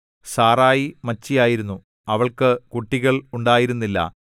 സാറായി മച്ചിയായിരുന്നു അവൾക്കു കുട്ടികൾ ഉണ്ടായിരുന്നില്ല